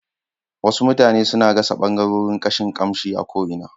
Wasu mutane suna gasa ɓangarorin kashin kamshi a ko'ina